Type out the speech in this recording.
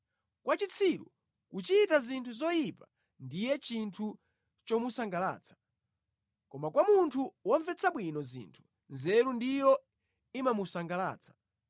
Kwa chitsiru kuchita zinthu zoyipa ndiye chinthu chomusangalatsa, koma kwa munthu womvetsa bwino zinthu nzeru ndiyo imamusangalatsa.